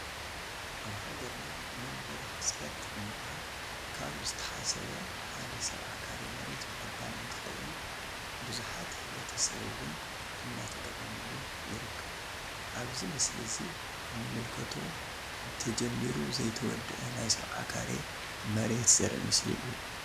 አብ ሃገርና መንበሪ ሕፅረት ንምቅራፍ ካብ ዝተሓሰብ ሓደ 70 ካሬ መሬት ምዕዳል እንትኮውን ብዝሕት ሕብረተሰብ እውን እናተጠቀመሉ ይርከብ። አብዚ ምስሊ እዚ ንምልከቶ ተጀሚሩ ዘይተወደአ ናይ 70 ካሬ መሬተ ዘሪኢ ምስሊ እዩ።